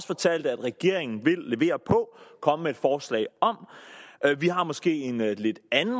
fortalt at regeringen vil levere på og komme med et forslag om vi har måske en lidt anden